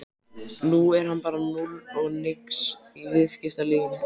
Nú er hann bara núll og nix í viðskiptalífinu!